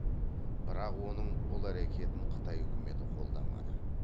бірақ оның бұл әрекетін қытай үкіметі қолдамады